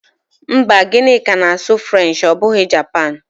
Mba, Gịnịka na-asụ French ọ bụghị Japan.